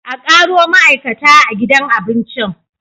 Akaro ma'aikata a gidan abincin